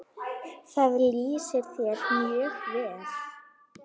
Það lýsir þér mjög vel.